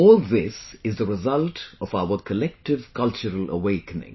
All this is the result of our collective cultural awakening